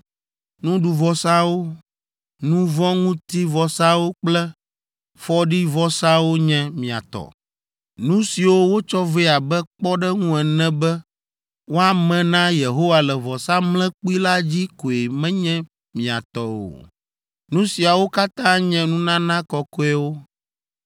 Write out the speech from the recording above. Nuɖuvɔsawo, nu vɔ̃ ŋuti vɔsawo kple fɔɖivɔsawo nye mia tɔ. Nu siwo wotsɔ vɛ abe kpɔɖeŋu ene be woame na Yehowa le vɔsamlekpui la dzi koe menye mia tɔ o. Nu siawo katã nye nunana kɔkɔewo.